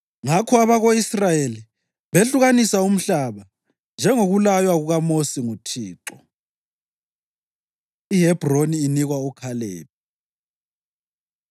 Ngakho abako-Israyeli behlukanisa umhlaba, njengokulaywa kukaMosi nguThixo. IHebhroni Inikwa UKhalebi